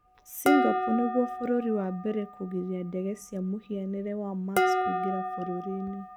Singapore nĩgũo bũrũri wa mbere kũgiria ndege cia mũhianĩre wa Max kũingĩra bũrũri-inĩ.